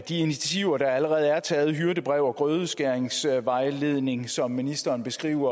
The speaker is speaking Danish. initiativer der allerede er taget nemlig hyrdebrevet og grødeskæringsvejledningen som ministeren beskrev